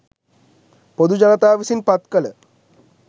පොදු ජනතාව විසින් පත්කළ